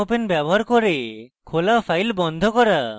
mopen ব্যবহার করে খোলা file বন্ধ করা